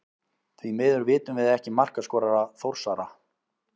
Því miður vitum við ekki markaskorara Þórsara.